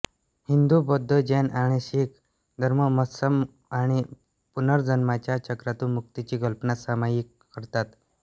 हिंदू बौद्ध जैन आणि शीख धर्म मोत्सम आणि पुनर्जन्माच्या चक्रातून मुक्तीची कल्पना सामायिक करतात